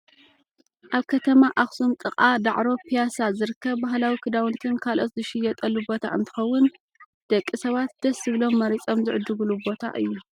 ኣብ ከተማ ኣክሱም ጥቃ ዳዕሮ ፕያሳ ዝርከብ ባህላዊ ክዳውንቲን ካልኦትን ዝሽየጠሉ ቦታ እንትከውን፣ ደቂ ሰባት ደስ ዝብሎም መሪፆም ዝዕድግሉ ቦታ እዩ።